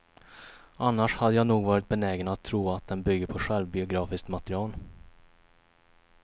Annars hade jag nog varit benägen att tro att den bygger på självbiografiskt material.